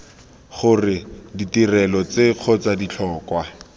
gore ditirelo tse kgotsa ditlhokwa